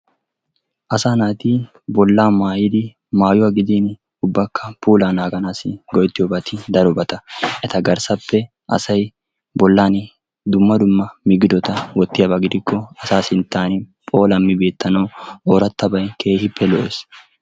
Asa naati bollaa maayyidi maayuwa gidin ubbakka puula naaganassi go''ettiyoobati darobata. Eta garssappe asay bollan dumma dumma migidota wottiyaaba gidikko asaa sintta phoolammi beettanaw ooratabay keehippe lo''ees.